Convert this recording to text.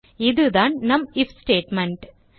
இதுதான் நம் if statement